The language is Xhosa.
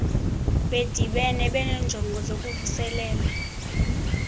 bedibene benenjongo zokuvuselela